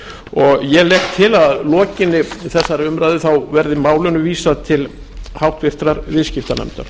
og ég legg til að að lokinni þessari umræðu verði málinu vísað til háttvirtrar viðskiptanefndar